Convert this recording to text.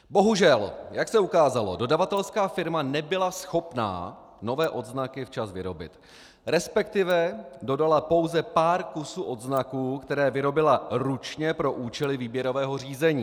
Bohužel, jak se ukázalo, dodavatelská firma nebyla schopna nové odznaky včas vyrobit, respektive dodala pouze pár kusů odznaků, které vyrobila ručně pro účely výběrového řízení.